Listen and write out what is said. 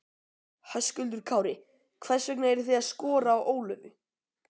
Höskuldur Kári: Hvers vegna eru þið að skora á Ólöfu?